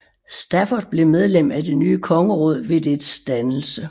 Stafford blev medlem af det nye kongeråd ved dets dannelse